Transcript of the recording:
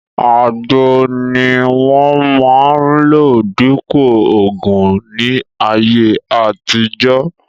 Àgbo ni wọ́n máa ń lò dípòo ògùn ní ayé àtijọ́